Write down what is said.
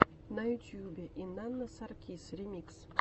на ютьюбе инанна саркис ремикс